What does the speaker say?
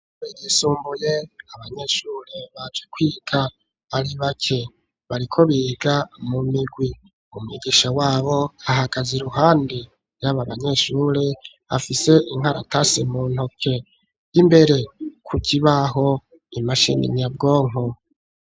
Ishuré yisumbuye abanyeshuri baje kwiga ari bake, bariko biga mu migwi, Umwigisha wabo ahagaze iruhande y'aba banyeshuri, afise inkaratase mu ntoke, 'imbere ku kibaho imashine inyabwonko.